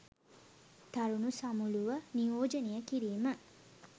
තරුණ සමුළුව නියෝජනය කිරීම